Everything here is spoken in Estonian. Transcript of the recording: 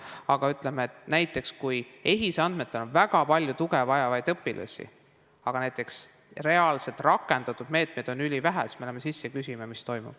Aga ütleme, et näiteks kui EHIS-e andmetel on väga palju tuge vajavaid õpilasi, aga reaalselt rakendatud meetmeid on ülivähe, siis me läheme ja küsime, mis toimub.